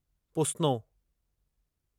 पुस्नो